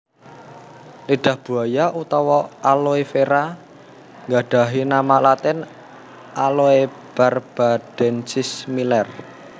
Lidah buaya utawa aloe vera gadhahi nama latin Aloebarbadensis Miller